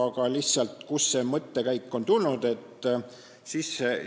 Aga kust see mõttekäik on tulnud?